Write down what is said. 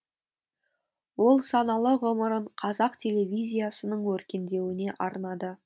ол саналы ғұмырын қазақ телевизиясының өркендеуіне арнады